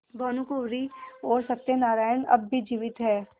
भानुकुँवरि और सत्य नारायण अब भी जीवित हैं